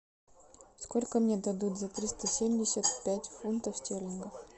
сколько мне дадут за триста семьдесят пять фунтов стерлингов